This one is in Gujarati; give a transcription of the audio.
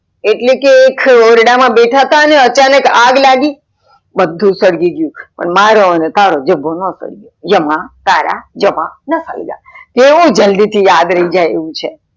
એટલે કે એક ઓરડા માં બેધા હતા ને અચાનક આગ લાગી બધું સળગી ગયું પણ મારો અને તારો જભો ના સળગ્યો.